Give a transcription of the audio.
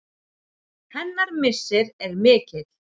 Hennar missir er mikill.